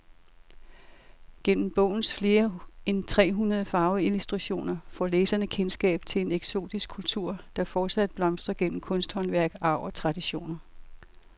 Gennem bogens flere end tre hundrede farveillustrationer får læseren kendskab til en eksotisk kultur, der fortsat blomstrer gennem kunsthåndværk, arv og traditioner.